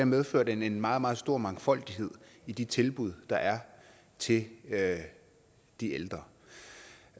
medfører det en meget meget stor mangfoldighed i de tilbud der er til de ældre